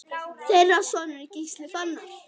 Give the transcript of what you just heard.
Þeirra sonur er Gísli Fannar.